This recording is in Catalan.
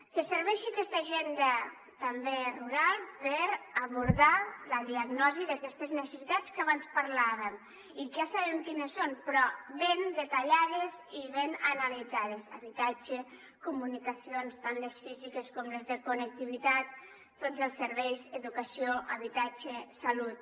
que serveixi aquesta agenda també rural per abordar la diagnosi d’aquestes necessitats que abans parlàvem i que ja sabem quines són però ben detallades i ben analitzades habitatge comunicacions tant les físiques com les de connectivitat tots els serveis educació habitatge salut